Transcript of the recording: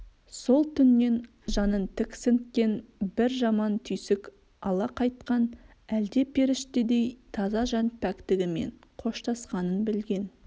сол түннен жанын тіксінткен бір жаман түйсік ала қайтқан әлде періштедей таза жан пәктігімен қоштасқанын білген